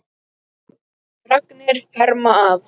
Fregnir herma að.